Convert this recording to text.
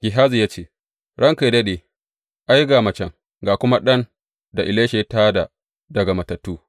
Gehazi ya ce, Ranka yă daɗe, ai, ga macen, ga kuma ɗan da Elisha ya tā da daga matattu.